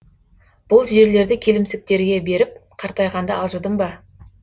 бұл жерлерді келімсектерге беріп қартайғанда алжыдым ба